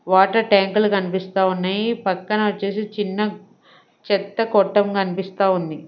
Water టాంకులు కనిపిస్తా ఉన్నాయి పక్కన వచ్చేసి చిన్న చెత్త కొట్టం కనిపిస్తా ఉంది.